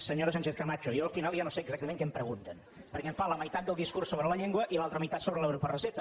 senyora sánchez camacho jo al final ja no sé exactament què em pregunten perquè em fa la meitat del discurs sobre la llengua i l’altra meitat sobre l’euro per recepta